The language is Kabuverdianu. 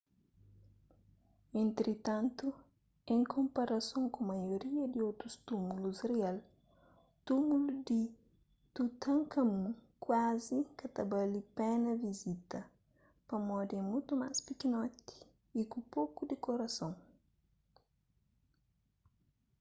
entritantu en konparason ku maioria di otus túmulus rial túmulu di tutankhamun kuazi ka ta bali pena vizita pamodi é mutu más pikinoti y ku poku dikorason